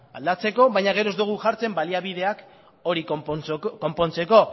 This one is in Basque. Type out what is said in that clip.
aldatzeko baina gero ez dogu jartzen baliabideak hori konpontzeko